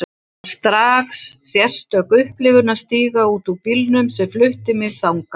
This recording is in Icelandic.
Það var strax sérstök upplifun að stíga út úr bílnum sem flutti mig þangað.